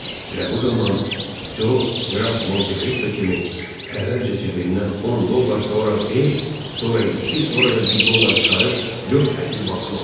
Elə bu zaman Co qraf Monte Cristo kimi əvvəlcə cibindən 10 dollar, sonra 5, sonra 2, sonra da 1 dollar çıxarıb 4 əsl banknot.